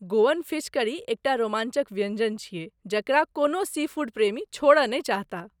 Goan fish curry एकटा रोमांचक व्यञ्जन छियै जकरा कोनो सीफूड प्रेमी छोड़ऽ नहि चाहताह।